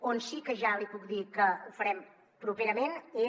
on sí que ja li puc dir que ho farem properament és